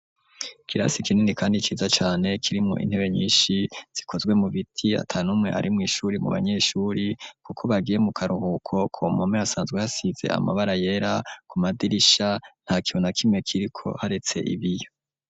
Ikirasi kinini kandi ciza cane, kirimwo intebe nyinshi zikozwe mu biti, ata n'umwe ari mw'ishuri mu banyeshuri, kuko bagiye mu karuhuko; ku mpome hasanzwe hasize amabara yera, ku madirisha nta kintu na kimwe kiriko, haretse ibiyo.